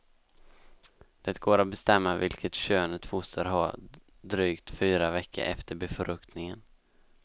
Det går att bestämma vilket kön ett foster har drygt fyra veckor efter befruktningen.